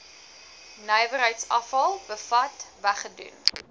nywerheidsafval bevat weggedoen